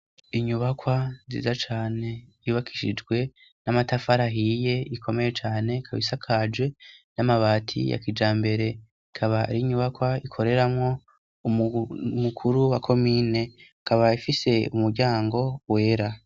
inyubakwa nziza cane yubakishijwe n'amatafari ahiye ikomeye cane ikabisakajwe n'amabati ya kijambere akaba arinyubakwa ikoreramo mukuru wa komine kaba ifise umuryango wera